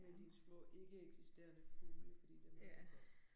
Med dine små ikke eksisterende fugle fordi dem